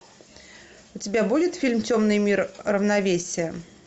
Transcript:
у тебя будет фильм темный мир равновесие